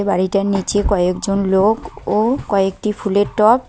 বাড়িটার নীচে কয়েকজন লোক ও কয়েকটি ফুলের টব --